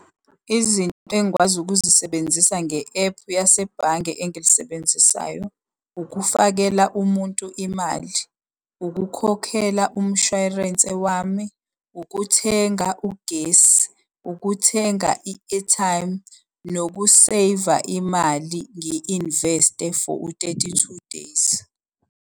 Izinto engikwazi ukuzisebenzisa nge-ephu yasebhange engilisebenzisayo, ukufakela umuntu imali. Ukukhokhela umshwarense wami. Ukuthenga ugesi, ukuthenga i-airtime, nokuseyiva imali ngi-investe for u-thirty-two days.